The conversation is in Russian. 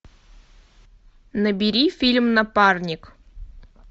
набери фильм напарник